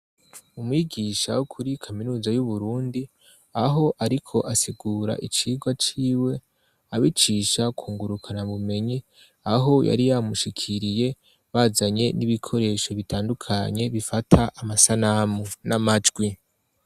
Umwigisha wo kuri kaminuza y'Uburundi aho ariko asigura icigwa ciwe abicisha ku ngurukanabumenyi aho yari yamushikiriye bazanye n'ibikoresho bitandukanye bifata amasanamu n'amajwi.